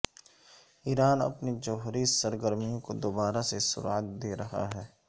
ایران اپنی جوہری سرگرمیوں کو دوبارہ سے سرعت دے رہا ہے